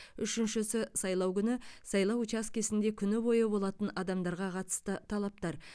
үшіншісі сайлау күні сайлау учаскесінде күні бойы болатын адамдарға қатысты талаптар